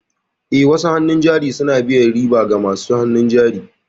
Eh, wasu hannun jari suna biyan riba ga masu hannun jari.